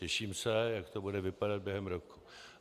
Těším se, jak to bude vypadat během roku.